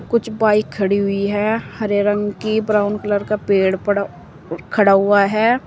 कुछ बाइक खड़ी हुई है हरे रंग की ब्राउन कलर का पेड़ पड़ा खड़ा हुआ है।